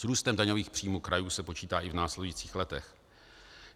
S růstem daňových příjmů krajů se počítá i v následujících letech.